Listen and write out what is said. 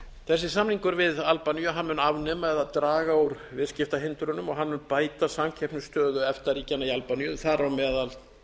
þessi samningur við albaníu mun afnema eða draga úr viðskiptahindrunum og mun bæta samkeppnisstöðu efta ríkjanna í albaníu þar á meðal